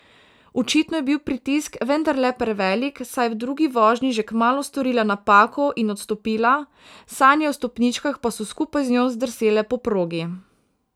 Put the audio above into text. Očitno je bil pritisk vendarle prevelik, saj je v drugi vožnji že kmalu storila napako in odstopila, sanje o stopničkah pa so skupaj z njo zdrsele po progi.